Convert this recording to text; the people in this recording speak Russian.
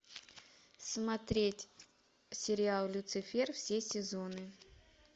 смотреть сериал люцифер все сезоны